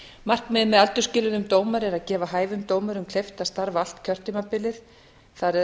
markmið með aldursskilyrðum dómara er að gefa hæfum dómurum kleift að starfa allt kjörtímabilið það er